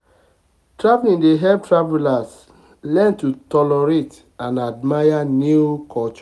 traveling dey help travelers learn to tolerate and admire new cultures.